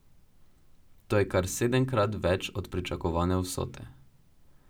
To je kar sedemkrat več od pričakovane vsote.